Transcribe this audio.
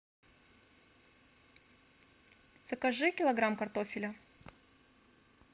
закажи килограмм картофеля